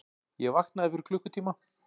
Ég vaknaði fyrir klukkutíma.